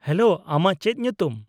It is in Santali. -ᱦᱮᱞᱳ, ᱟᱢᱟᱜ ᱪᱮᱫ ᱧᱩᱛᱩᱢ ?